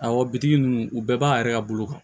Awɔ bitigi ninnu u bɛɛ b'a yɛrɛ ka bolo kan